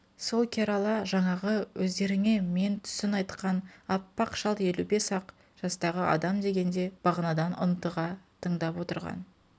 сол керала жаңағы өздеріңе мен түсін айтқан аппақ шал елу бес-ақ жастағы адам дегенде бағанадан ынтыға тыңдап отырған